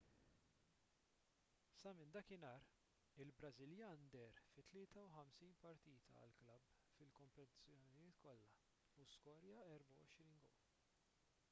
sa minn dakinhar il-brażiljan deher fi 53 partita għall-klabb fil-kompetizzjonijiet kollha u skorja 24 gowl